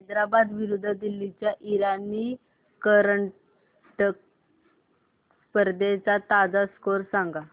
हैदराबाद विरुद्ध दिल्ली च्या इराणी करंडक स्पर्धेचा ताजा स्कोअर सांगा